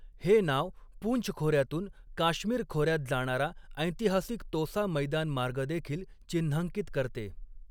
हे नाव पुंछ खोऱ्यातून काश्मीर खोऱ्यात जाणारा ऐतिहासिक तोसा मैदान मार्ग देखील चिन्हांकित करते.